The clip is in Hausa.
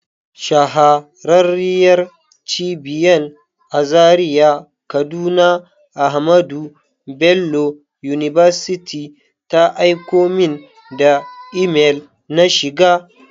Shahararriyar Cibiyan a Zaria kaduna AHMADU BELLO UNIVERSITY ta aiko min da imel na shiga.